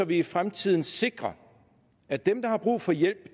vi i fremtiden sikrer at dem der har brug for hjælp